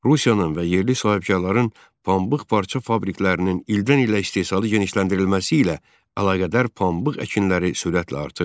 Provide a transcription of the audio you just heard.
Rusiyanın və yerli sahibkarların pambıq parça fabriklərinin ildən-ilə istehsalı genişləndirilməsi ilə əlaqədar pambıq əkinləri sürətlə artırdı.